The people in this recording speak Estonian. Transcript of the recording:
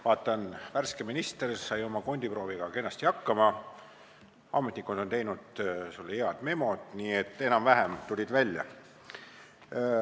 Vaatan, et värske minister sai oma kondiprooviga kenasti hakkama, ametnikud on teinud sulle head memod, nii et enam-vähem tulid välja.